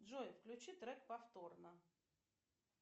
джой включи трек повторно